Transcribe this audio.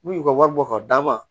N'u y'u ka wari bɔ k'a d'a ma